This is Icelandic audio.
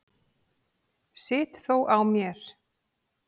Sit þó á mér.